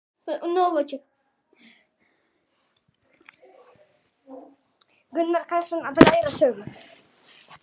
Gunnar Karlsson: Að læra af sögu.